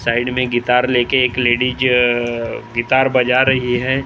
side में guitar ले के एक लेडीज अ अ गिटार बजा रही है और --